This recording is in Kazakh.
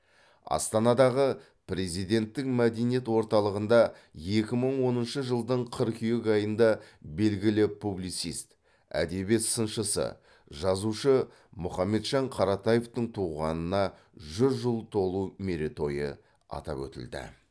астанадағы президенттік мәдениет орталығында екі мың оныншы жылдың қыркүйек айында белгілі публицист әдебиет сыншысы жазушы мұхамеджан қаратаевтың туғанына жүз жыл толу мерейтойы атап өтілді